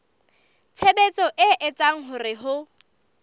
tshebetso e etsang hore ho